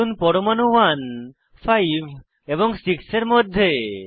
ধরুন পরমাণু 1 5 এবং 6 এর মধ্যে